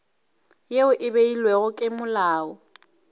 yeo e beilwego ke molao